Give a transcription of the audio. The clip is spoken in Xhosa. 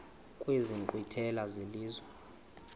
kwezi nkqwithela zelizwe